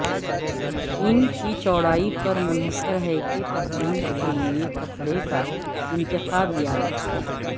ان کی چوڑائی پر منحصر ہے کہ پتلون کے لئے کپڑے کا انتخاب یاد رکھیں